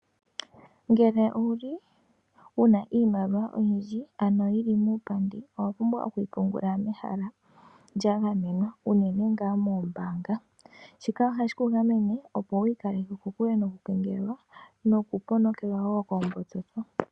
Ngele owuli wuna iimaliwa oyindji ano yili muupandi owapumbwa okwii pungula mehala lya gamenwa unene ngaa moombanga, shika oha shiku gamene opo wiikaleke kokule noku kengelelwa noku ponekelwa woo koombudhi.